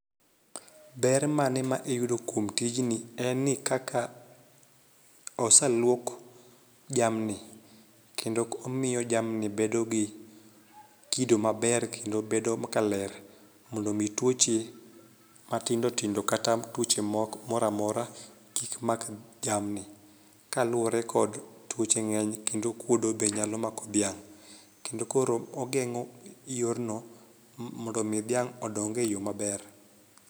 Ber mane ma iyudo kuom tijni en ni kaka oseluok jamni kendo omiyo jamni bedo gi kido maber kendo bedo ka ler mondo mi tuoche matindotindo kata tuoche moko moramora kik mak jamni. Kaluwore kod tuoche ng'eny ekndo okuodo be nyalo mako dhiang' kendo koro ogeng'o yorno mo mondo mi dhiang' odong e yoo maber.